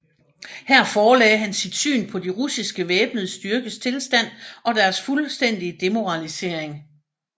Her forelagde han sit syn på de russiske væbnede styrkes tilstand og deres fuldstændige demoralisering